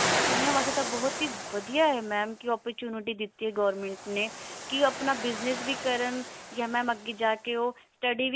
ਕੁੜੀਆਂ ਵਾਸਤੇ ਤਾਂ ਬਹੁਤ ਵਧੀਆ ਹੈ ਕਿ mam opportunity ਦਿੱਤੀ ਆ government ਨੇ ਕੀ ਆਪਣਾ business ਵੀ ਕਰਨ ਯਾ mam ਅੱਗੇ ਜਾ ਕਿ ਉਹ study ਵੀ